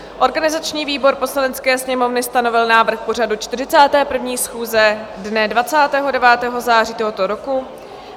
Organizační výbor Poslanecké sněmovny stanovil návrh pořadu 41. schůze dne 29. září tohoto roku.